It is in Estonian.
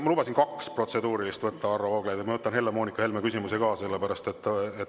Ma lubasin kaks protseduurilist võtta, Varro Vooglaid, ja ma võtan Helle-Moonika Helme küsimuse ka.